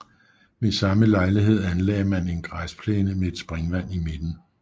Ved samme lejlighed anlagde man en græsplæne med et springvand i midten